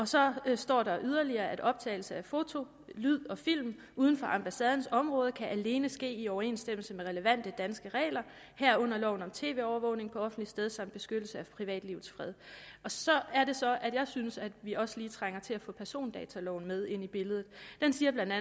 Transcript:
så står der yderligere at optagelse af fotos lyd og film uden for ambassadens område alene kan ske i overensstemmelse med relevante danske regler herunder loven om tv overvågning på offentligt sted samt beskyttelse af privatlivets fred så er det så at jeg synes at vi også lige trænger til at få persondataloven med ind i billedet den siger bla